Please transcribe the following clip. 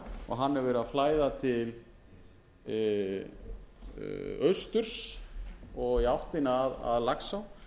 hann hefur verið að flæða til austurs og í áttina að laxá